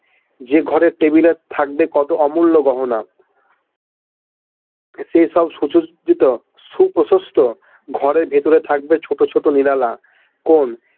যে ঘরের Table এ থাকবে কত অমূল্য গহনা সেসব সুসজিত সুপ্রশস্ত ঘরের ভিতরে থাকবে ছোট ছোট নিরালা কোণ।